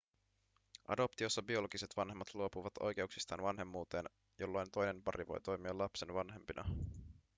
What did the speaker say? adoptiossa biologiset vanhemmat luopuvat oikeuksistaan vanhemmuuteen jolloin toinen pari voi toimia lapsen vanhempina